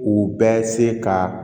U bɛ se ka